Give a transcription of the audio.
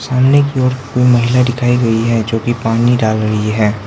सामने की ओर महिला दिखाई गई है जो की पानी डाल रही है।